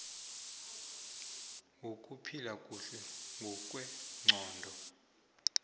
wokuphila kuhle ngokwengqondo